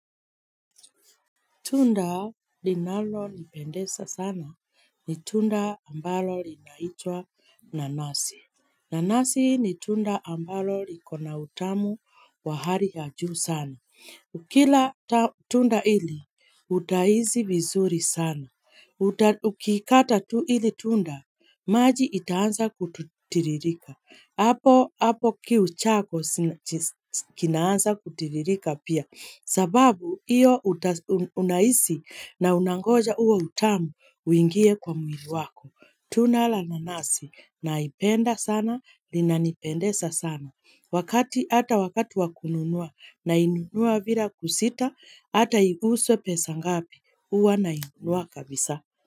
Tunda linalonipendeza sana ni tunda ambalo linaitwa nanasi. Nanasi ni tunda ambalo liko na utamu wa hali ya juu sana. Ukila tunda hili, utahisi vizuri sana. Ukikata tu ili tunda, maji itaanza kutiririka. Hapo kiu chako kinaanza kutiririka pia. Sababu hiyo unahisi na unangoja huo utamu uingie kwa mwili wako Tunda la nanasi naipenda sana, linanipendeza sana. Hata wakati wa kununua nainunua bila kusita hata iguswe pesa ngapi huwa nainunua kabisa.